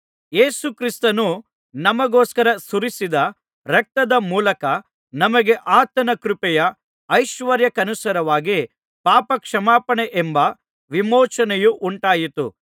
ಯೇಸುಕ್ರಿಸ್ತನು ನಮಗೋಸ್ಕರ ಸುರಿಸಿದ ರಕ್ತದ ಮೂಲಕ ನಮಗೆ ಆತನ ಕೃಪೆಯ ಐಶ್ವರ್ಯಕ್ಕನುಸಾರವಾಗಿ ಪಾಪ ಕ್ಷಮಾಪಣೆಯೆಂಬ ವಿಮೋಚನೆಯು ಉಂಟಾಯಿತು